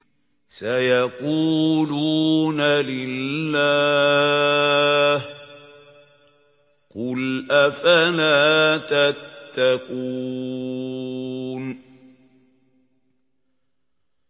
سَيَقُولُونَ لِلَّهِ ۚ قُلْ أَفَلَا تَتَّقُونَ